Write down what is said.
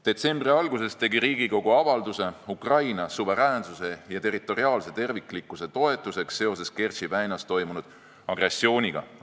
Detsembri alguses tegi Riigikogu avalduse Ukraina suveräänsuse ja territoriaalse terviklikkuse toetuseks seoses Kertši väinas toimunud agressiooniga.